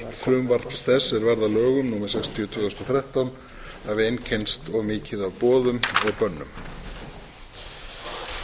sem varð að lögum númer sextíu tvö þúsund og þrettán hafi einkennst of mikið af boðum og bönnum